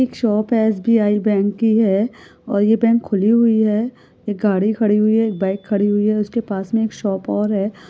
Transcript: एक शॉप है SBI bank भी है और ये बैंक खुली हुई है एक गाड़ी खड़ी हुई है एक बाइक खड़ी हुई है उसके पास मे एक शॉप ऑर है ।